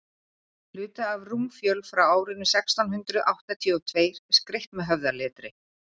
hluti af rúmfjöl frá árinu sextán hundrað áttatíu og tveir skreytt með höfðaletri